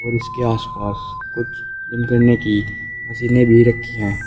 और इसके आसपास कुछ जिम करने की मशीनें भी रखी है।